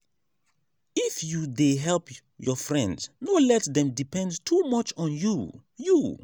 if you dey help your friend no let dem depend too much on you. you.